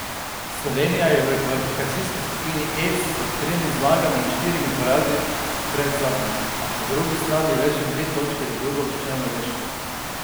Slovenija je v kvalifikacijski skupini E s tremi zmagami in štirimi porazi predzadnja, a po drugi strani le še dve točki za drugouvrščeno Norveško.